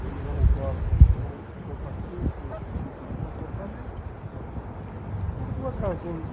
Eu não concordo, não compactuo com esse tipo de comportamento, por duas razões.